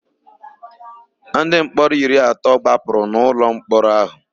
Ndịmkpọrọ iri atọ gbapụrụ n'ụlọmkpọrọ áhụ̀.